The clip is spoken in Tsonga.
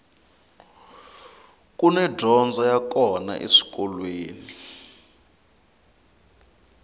kuni dyondzo ya kona eswikolweni